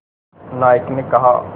नायक ने कहा